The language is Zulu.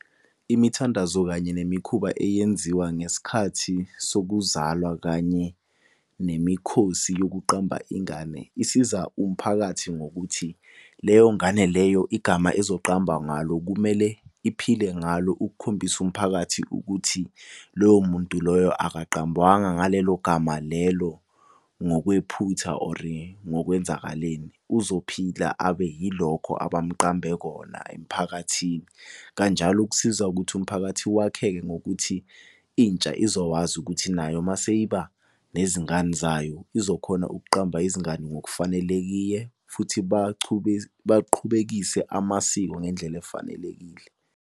Imithandazo kanye nemikhuba eyenziwa ngesikhathi sokuzalwa kanye nemikhosi yokuqamba ingane. Isiza umphakathi ngokuthi leyo ngane leyo igama ezoqambwa ngalo, kumele iphile ngalo ukukhombisa umphakathi ukuthi loyo muntu loyo akaqambwanga ngalelo gama lelo ngokwephutha or ngokwenzakaleni. Uzophila, abe yilokho abamuqambe kona emphakathini. Kanjalo kusiza ukuthi umphakathi wakheke ngokuthi intsha izokwazi ukuthi nayo uma seyiba nezingane zayo izokhona ukuqamba izingane ngokufanelekile futhi baqhubekise amasiko ngendlela efanelekile.